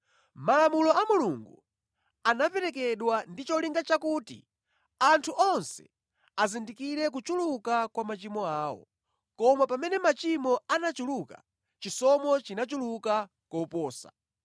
Malamulo a Mulungu anaperekedwa ndi cholinga chakuti anthu onse azindikire kuchuluka kwa machimo awo. Koma pamene machimo anachuluka, chisomo chinachuluka koposa.